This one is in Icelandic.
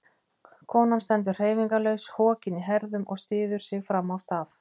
Konan stendur hreyfingarlaus, hokin í herðum og styður sig fram á staf.